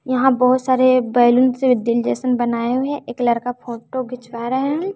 यहां बहुत सारे बैलून से दिल जैसन बनाए हुए है एक लड़का फोटो खिंचवा रहे हैं।